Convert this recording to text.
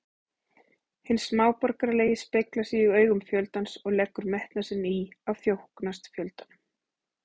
Hinn smáborgaralegi speglar sig í augum fjöldans og leggur metnað sinn í að þóknast fjöldanum.